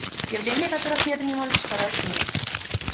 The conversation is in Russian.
явления которых нет и не может существовать в мире